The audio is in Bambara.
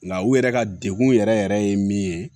Nka u yɛrɛ ka degun yɛrɛ yɛrɛ yɛrɛ ye min ye